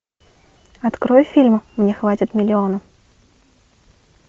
открой фильм мне хватит миллиона